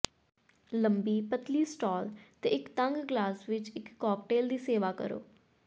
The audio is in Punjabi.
ਲੰਬੀ ਪਤਲੀ ਸਟਾਲ ਤੇ ਇੱਕ ਤੰਗ ਗਲਾਸ ਵਿੱਚ ਇੱਕ ਕਾਕਟੇਲ ਦੀ ਸੇਵਾ ਕਰੋ